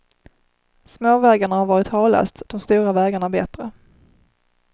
Småvägarna har varit halast, de stora vägarna bättre.